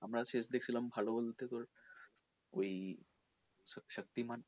আমরা শেষ দেখছিলাম ভালো বলতে তোর ওই শাক্তিমান